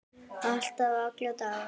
Alltaf, alla daga.